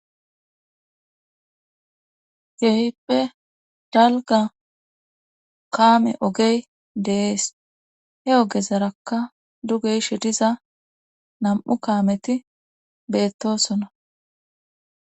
Keehippe dalga kaame ogey deees he ogezarakka dugey she diza nam7u kaameti beettosona.